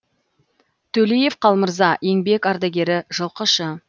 төлеев қалмырза еңбек ардагері жылқышы